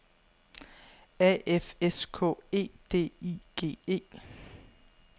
A F S K E D I G E